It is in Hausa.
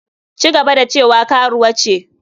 Ci gaba da cewa karuwa ce.